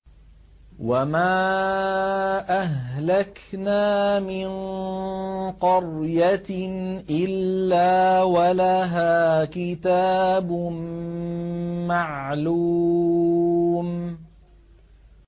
وَمَا أَهْلَكْنَا مِن قَرْيَةٍ إِلَّا وَلَهَا كِتَابٌ مَّعْلُومٌ